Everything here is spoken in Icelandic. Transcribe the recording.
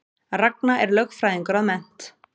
Ragna er lögfræðingur að mennt